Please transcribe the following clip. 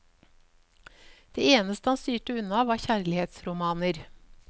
Det eneste han styrte unna var kjærlighetsromaner.